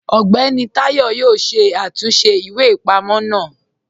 Ọgbẹni Tayọ̀ yọ̀ọ́ ṣé àtúnṣe ìwé-ipamọ̀ náà